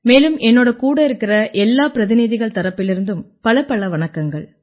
மேலும் என்னோட கூட இருக்கற எல்லா பிரதிநிதிகள் தரப்பிலிருந்தும் பலப்பல வணக்கங்கள்